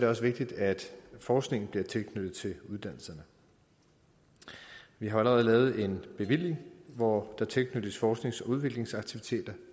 også vigtigt at forskningen bliver tilknyttet uddannelserne vi har allerede lavet en bevilling hvor der tilknyttes forsknings og udviklingsaktiviteter